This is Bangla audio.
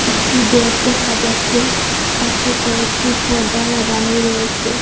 একটি বেগ দেখা যাচ্ছে পাশে কয়েকটি পর্দা লাগানো রয়েসে।